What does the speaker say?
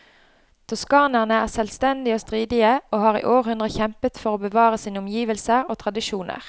Toskanerne er selvstendige og stridige, og har i århundrer kjempet for å bevare sine omgivelser og tradisjoner.